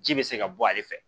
Ji bɛ se ka bɔ ale fɛ